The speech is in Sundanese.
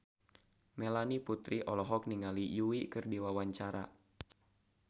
Melanie Putri olohok ningali Yui keur diwawancara